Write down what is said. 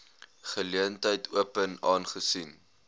geleentheid open aangesien